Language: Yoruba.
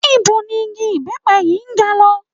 Ibo ni igi ìbẹ́pẹ yìí ń ga lọ?